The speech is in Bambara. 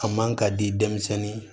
A man ka di denmisɛnnin